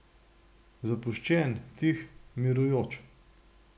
Zapuščen, tih, mirujoč.